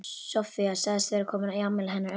Soffía sagðist vera komin í afmælið hennar Önnu.